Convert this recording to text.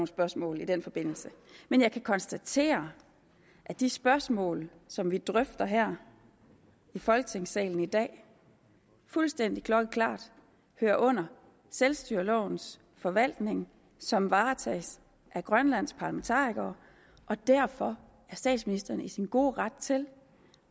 spørgsmål i den forbindelse men jeg kan konstatere at de spørgsmål som vi drøfter her i folketingssalen i dag fuldstændig klokkeklart hører under selvstyrelovens forvaltning som varetages af grønlands parlamentarikere og derfor er statsministeren i sin gode ret til